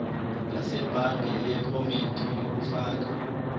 yasebhange yephomedi yokufaka